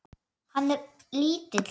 Hann er lítill.